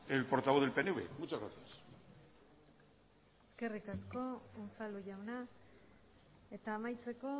el portavoz del pnv muchas gracias eskerrik asko unzalu jauna eta amaitzeko